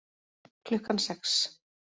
Klukkan sex